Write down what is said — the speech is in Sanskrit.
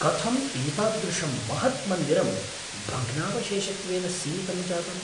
कथम् एतादृशं महत् मन्दिरं भग्नावशेषत्वेन सीमितं जातम्?